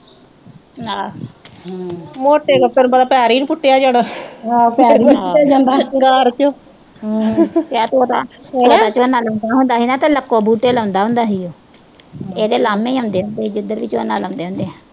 ਹੋਰ ਤੇਰੇ ਉੱਪਰ ਬੜਾ ਭਾਰ ਈ ਆ ਟੁੱਟਿਆ ਜਿਹੜਾ ਜਦੋਂ ਝੋਨਾ ਲਾਉਂਦਾ ਹੁੰਦਾ ਸੀ ਨਾ ਤੇ ਲੱਕੋਂ ਬੂਟੇ ਲਾਉਂਦਾ ਹੁੰਦਾ ਸੀ ਉਹ, ਉਹਦੇ ਉਲਾਂਭੇ ਆਉਂਦੇ ਹੁੰਦੇ ਸੀ ਜਿੱਧਰ ਵੀ ਝੋਨਾ ਲਾਉਂਦੇ ਹੁੰਦੇ ਸੀ।